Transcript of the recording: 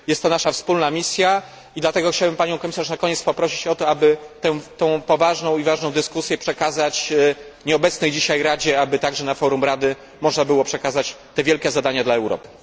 Jest to nasza wspólna misja i dlatego chciałbym Panią komisarz na koniec poprosić o to, aby tą poważną i ważną dyskusję zrelacjonować nieobecnej dzisiaj Radzie, aby także na forum Rady można było przekazać te wielkie zadania dla Europy.